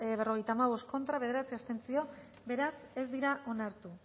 berrogeita hamabost contra bederatzi abstentzio beraz ez dira onartu